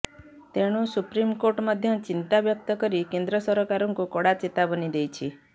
ତେଣୁ ସୁପ୍ରିମକୋର୍ଟ ମଧ୍ୟ ଚିନ୍ତାବ୍ୟକ୍ତ କରି କେନ୍ଦ୍ର ସରକାରଙ୍କୁ କଡ଼ା ଚେତାବନୀ ଦେଇଛି